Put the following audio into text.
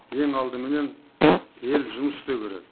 ең алдыменен ел жұмыс істеуі керек